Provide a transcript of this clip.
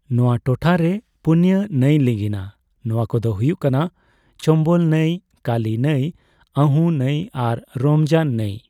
ᱱᱚᱣᱟ ᱴᱚᱴᱷᱟ ᱨᱮ ᱯᱩᱱᱭᱟ ᱱᱟᱹᱭ ᱞᱤᱸᱜᱤᱱᱟ ᱾ ᱱᱚᱣᱟ ᱠᱚᱫᱚ ᱦᱩᱭᱩᱜ ᱠᱟᱱᱟ ᱪᱚᱢᱵᱚᱞ ᱱᱟᱹᱭ, ᱠᱟᱹᱞᱤ ᱱᱟᱹᱭ, ᱟᱹᱦᱩ ᱱᱟᱹᱭ ᱟᱨ ᱨᱚᱢᱡᱟᱱ ᱱᱟᱹᱭ ᱾